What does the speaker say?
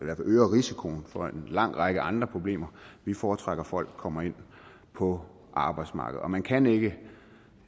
øger risikoen for en lang række andre problemer foretrækker vi at folk kommer ind på arbejdsmarkedet og man kan ikke